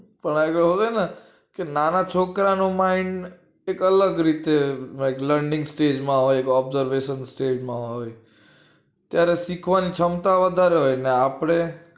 નાના છોકરા નું mind કઈક અલગ રીતે હોય learning stage માં હોય observation stage મા હોય ત્યારે શીખવાની ક્ષમતા વધારે હોય એટલે આપડે